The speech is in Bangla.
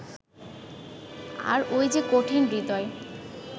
আর ওই যে কঠিন-হৃদয়